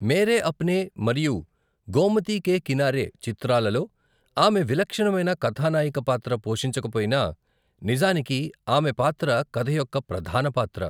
మేరే అప్నే' మరియు 'గోమతి కే కినరే' చిత్రాలలో ఆమె విలక్షణమైన కథానాయిక పాత్ర పోషించకపోయినా, నిజానికి ఆమె పాత్ర కథ యొక్క ప్రధాన పాత్ర.